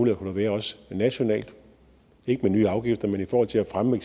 der kunne være nationalt ikke med nye afgifter men i forhold til at fremme